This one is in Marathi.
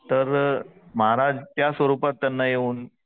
तर महाराज त्या स्वरूपात त्यांना येऊन